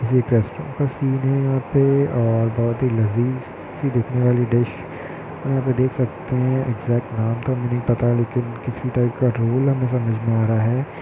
ये एक restaurant scene है यहाँ पे और बहुत ही लजीज सी दिखने वाली डिश यहाँ पे देख सकते हैं इग्ज़ैक्ट नाम तो नहीं पता किसी टाइप का रोल हैं समझमे नहीं आ रहा हैं।